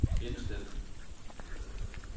indstil